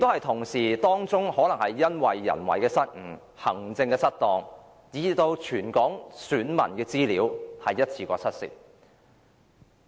同時，當中可能出現人為失誤及行政失當，以致全港選民的資料一次過失竊。